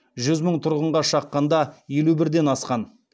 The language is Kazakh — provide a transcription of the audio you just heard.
жүз мың тұрғынға шаққанда елу бірден асқан